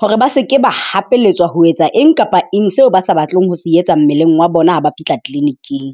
hore ba se ke ba hapeletswa ho etsa eng kapa eng seo ba sa batleng ho se etsa mmeleng wa bona ha ba fihla clinic-ing.